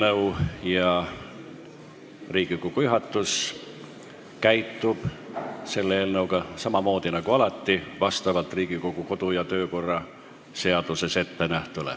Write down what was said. Nagu alati, Riigikogu juhatus käitub selle eelnõuga Riigikogu kodu- ja töökorra seaduse alusel.